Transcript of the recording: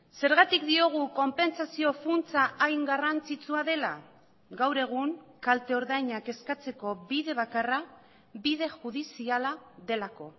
zergatik diogu konpentsazio funtsa hain garrantzitsua dela gaur egun kalte ordainak eskatzeko bide bakarra bide judiziala delako